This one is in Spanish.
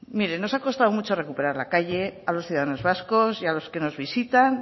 mire nos ha costado mucho recuperar la calle a los ciudadanos vascos y a los que nos visitan